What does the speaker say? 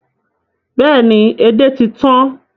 Bẹ́ẹ̀ ni, edé ti tan